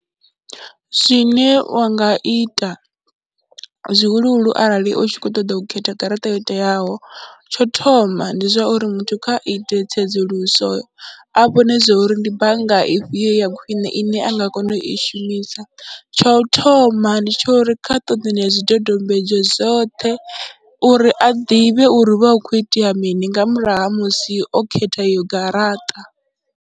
Zwine wa nga ita zwihuluhulu arali u tshi khou ṱoḓa u khetha garaṱa yo teaho, tsho thoma ndi zwa uri muthu kha ite tsedzuluso a vhone zwo ri ndi bannga i fhio ya khwine ine a nga kona u i shumisa, tsha u thoma ndi tsha uri kha ṱoḓe zwidodombedzwa zwoṱhe uri a ḓivhe uri hu vha hu khou itea mini nga murahu ha musi o khetha eyo garaṱa.